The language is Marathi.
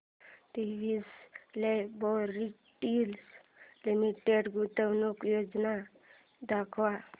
डिवीस लॅबोरेटरीज लिमिटेड गुंतवणूक योजना दाखव